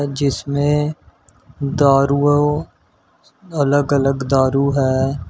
जिसमें दारुओं अलग अलग दारू है।